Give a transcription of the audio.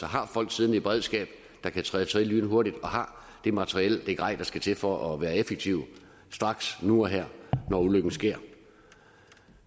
har folk siddende i beredskab der kan træde til lynhurtigt har det materiel det grej der skal til for at være effektive straks nu og her når ulykken sker